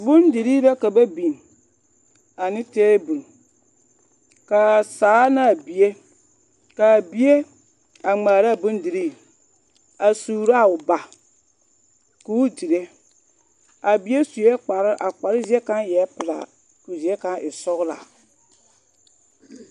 Bondirii la ka ba biŋ ane teebol k'a saa naa bie, k'a bie a ŋmaaraa bondirii a suuro a o ba k'o dire a bie sue kparoo, a kparoo zie kaŋa eɛ pelaa k'o zie kaŋa e sɔgelaa.